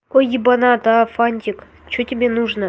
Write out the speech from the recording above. ой ебанат фантик что тебе нужно